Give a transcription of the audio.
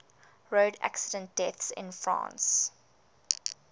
road accident deaths in france